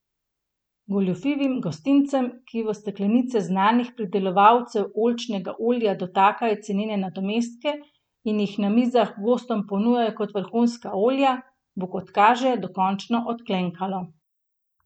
Goljufivim gostincem, ki v steklenice znanih pridelovalcev oljčnega olja dotakajo cenene nadomestke in jih na mizah gostom ponujajo kot vrhunska olja, bo, kot kaže, dokončno odklenkalo.